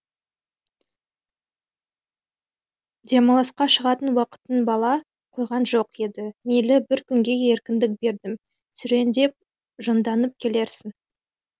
демалысқа шығатын уақытың бола қойған жоқ еді мейлі бір күнге еркіндік бердім серуендеп жонданып келерсің